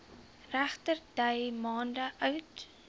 regterdy maande oud